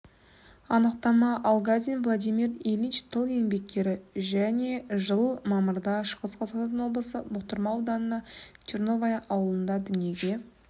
анықтама алгазин владимир ильич тыл еңбеккері жылы мамырда шығыс қазақстан облысы бұқтырма ауданы черновая ауылында дүниеге